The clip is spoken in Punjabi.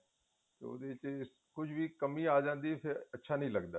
ਉਹਦੇ ਚ ਕੁੱਝ ਵੀ ਕਮੀ ਆਂ ਜਾਂਦੀ ਏ ਫ਼ੇਰ ਅੱਛਾ ਨਹੀਂ ਲੱਗਦਾ